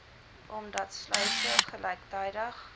omdat sluise gelyktydig